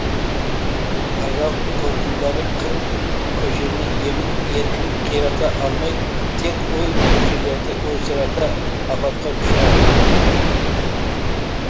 ажал толқындары қыр көшені емін еркін қирата алмай тек ой көшелерді ойсырата апатқа ұшыратты